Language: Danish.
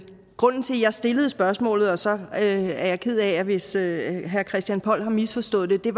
grunden til at jeg stillede spørgsmålet og så er jeg ked af hvis herre herre christian poll har misforstået det det